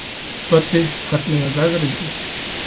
Böddi, hvernig er veðrið úti?